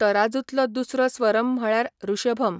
तराजूंतलो दुसरो स्वरम म्हळ्यार ऋषभम.